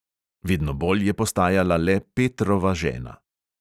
Vedno bolj je postajala le petrova žena.